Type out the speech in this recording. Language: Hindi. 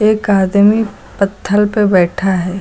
एक आदमी पत्थल पे बैठा है।